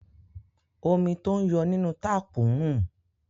Omi tó ń yọ nínú táàpù ń rùn.